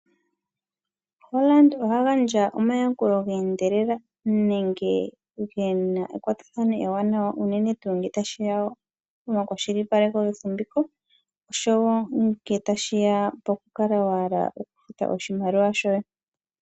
Hollard oha gandja omayakulo geendelela nenge gena ekwatathano ewanawa unene tuu ngele tashi ya pomakwashilipaleko gefumbiko oshowo ngele tashi ya pokukala wa hala okufuta oshimaliwa shoye.